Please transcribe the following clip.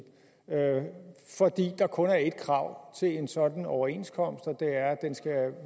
fordi der kun er ét krav til en sådan overenskomst og det er at den skal